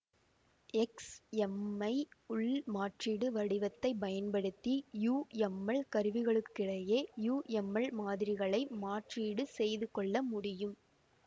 எக்ஸ்எம்ஐ உள்மாற்றீடு வடிவத்தைப் பயன்படுத்தி யுஎம்எல் கருவிகளுக்கிடையே யுஎம்எல் மாதிரிகளை மாற்றீடு செய்துகொள்ள முடியும்